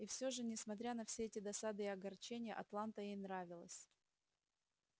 и всё же несмотря на все эти досады и огорчения атланта ей нравилась